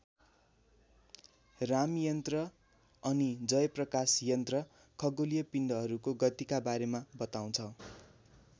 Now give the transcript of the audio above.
राम यन्त्र अनि जय प्रकाश यन्त्र खगोलीय पिण्डहरूको गतिका बारेमा बताउँछ।